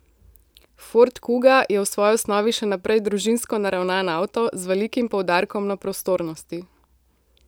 Ford kuga je v svoji osnovi še naprej družinsko naravnan avto, z velikim poudarkom na prostornosti.